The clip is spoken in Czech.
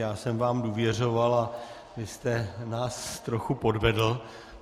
Já jsem vám důvěřoval a vy jste nás trochu podvedl.